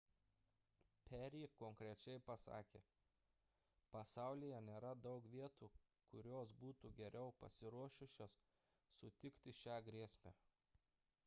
perry konkrečiai pasakė pasaulyje nėra daug vietų kurios būtų geriau pasiruošusios sutikti šią grėsmę